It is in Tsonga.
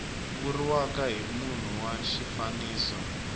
vuriwaka hi munhu wa xifaniso